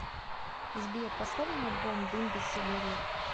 сбер поставь мне альбом дым без сигарет